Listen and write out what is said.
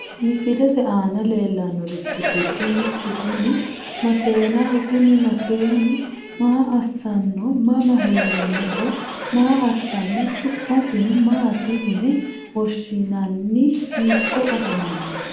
Misilete aana lelanorichi giddo mittu kuni makeenaho kuni makeeni maa asanno mama heranoho maa asano su`masino maati yine woshinani hiiko afamano.